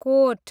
coat